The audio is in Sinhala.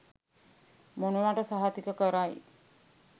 මොනවට සහතික කරයි.